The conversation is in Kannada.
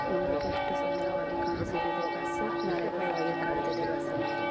ನೋಡೋಕೆ ಎಷ್ಟು ಸುಂದರವಾಗಿ ಕಾಣಿಸುತ್ತಿದೆ ಬಸ್ಸು ಮೇಲ್ಗಡೆ ವೈರ್ ಕಳೆದಿದೆ ಬಸ್ಸಿನ ಮೇಲೆ .